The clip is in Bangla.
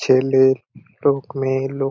ছেলে লোক মেয়ে লোক।